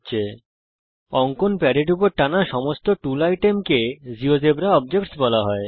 সমস্ত tool item অঙ্কন প্যাডের উপর টানা হয়েছে একে জীয়োজেব্রাতে অবজেক্টস বলা হয়